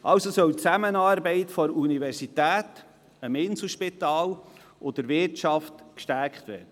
Also soll die Zusammenarbeit zwischen der Universität, dem Inselspital und der Wirtschaft gestärkt werden.